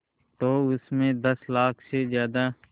तो उस में दस लाख से ज़्यादा